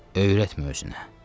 Öyrətmə özünə.